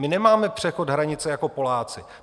My nemáme přechod hranice jako Poláci.